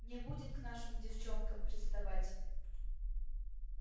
не будет к нашим девчонкам приставать